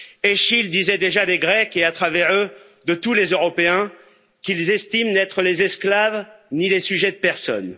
Eschyle disait déjà des Grecs et, à travers eux, de tous les Européens, qu'ils estiment n'être les esclaves ni les sujets de personne.